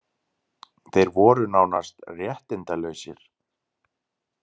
Þeir voru nánast réttindalausir.